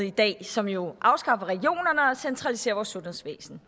i dag som jo afskaffer regionerne og centraliserer vores sundhedsvæsen